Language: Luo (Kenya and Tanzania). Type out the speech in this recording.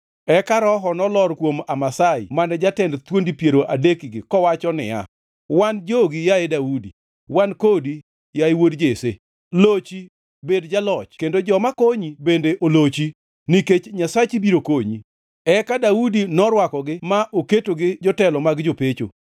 Eka Roho nolor kuom Amasai mane jatend thuondi piero adekgi kowacho niya, “Wan jogi, yaye Daudi! Wan kodi, yaye wuod Jesse! Lochi, bed jaloch kendo joma konyi bende olochi, nikech Nyasachi biro konyi.” Eka Daudi norwakogi ma oketogi jotelo mag jopecho.